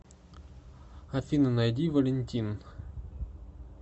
афина найди валентин